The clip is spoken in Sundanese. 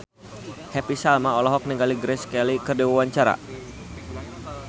Happy Salma olohok ningali Grace Kelly keur diwawancara